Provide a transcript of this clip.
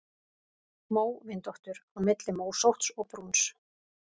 Móvindóttur: Á milli mósótts og brúns.